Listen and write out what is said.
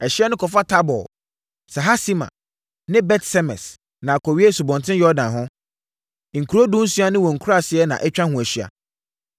Ɛhyeɛ no kɔfa Tabor, Sahasima ne Bet-Semes na akɔwie Asubɔnten Yordan ho. Nkuro dunsia ne wɔn nkuraaseɛ na atwa ho ahyia.